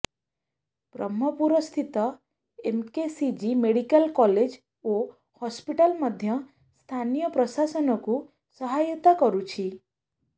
ବ୍ରହ୍ମପୁରସ୍ଥିତ MKCG medical college ଓ hospital ମଧ୍ୟ ସ୍ଥାନୀୟ ପ୍ରଶାସନକୁ ସହାୟତା କରୁଛି